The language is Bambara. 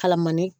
Kalamani